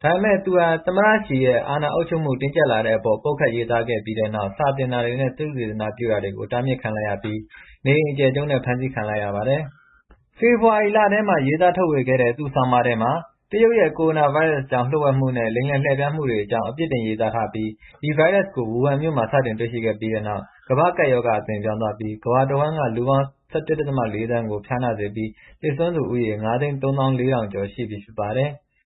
။ ဒါပေမယ့်သူဟာ သမ္မတ Xi ရဲ့အာဏာချုပ်ကိုင်မှုတင်းကျပ်လာတဲ့အပေါ် ပုတ်ခတ်ရေးသားခဲ့ပြီးတဲ့နောက်စာသင်တာတွေနဲ့ သုတေသန ပြုတာတွေကို တားမြစ်ခံလိုက်ရပြီး နေအိမ်အကျယ်ချုပ်နဲ့ ဖမ်းဆီးခံလိုက်ရပါတယ်။ ဖေဖော်ဝါရီလထဲမှာရေးသားထုတ်ဝေခဲ့တဲ့ သူ့ဆောင်းပါးထဲမှာ တရုတ်ရဲ့ကိုရိုနာဗိုင်းရပ်စ်အကြောင်း လျှို့ဝှက်မှုနဲ့ လိမ်လည်လှည့်ဖျားမှုတွေအကြောင်း အပြစ်တင်ရေးသား ထားပြီး ဒီဗိုင်းရပ်စ်ကို ဝူဟန်မြို့မှာ စတင်တွေ့ရှိပြီးနောက် ကမ္ဘာ့ကပ်ရောဂါအဖြစ်အသွင်ပြောင်းသွားပြီး ကမ္ဘာတဝှမ်းက လူပေါင်း ၁၁.၄ သန်းကို ဖျားနာစေပြီး သေဆုံးသူဦးရေ ၅၃၄,၀၀၀ ကျော်ပြီဖြစ်ပါတယ်။